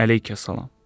Əleykəssalam.